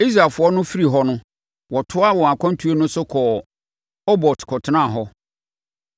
Israelfoɔ no firi hɔ no, wɔtoaa wɔn akwantuo no so kɔɔ Obot kɔtenaa hɔ.